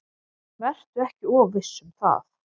Vertu ekki of viss um það.